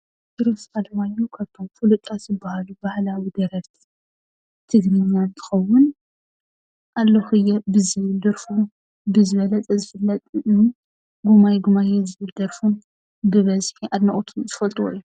ኪሮስ ኣለማዮህ ካብቶም ፍሉጣት ዝበሃሉ ባህላዊ ደረፍቲ ድማ እንትኸውን ኣለኹ እየ ብዝብል ደርፉ ብዝበለፀ ዝፍለጥ እዩ፡፡ ጉማይ ጉማየ ዝብል ደርፉ ብበዝሒ አድነቕቱ ዝፈልጥዎ እዮም፡፡